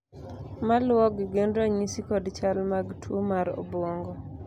maluwogi gin ranyisi kod chal mag tuo mar obuongo